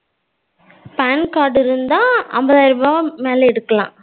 PAN card இருந்தா அம்பதாயிர ரூபா மேல எடுக்கலாம்.